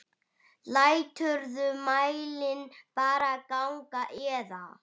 Læturðu mælinn bara ganga eða?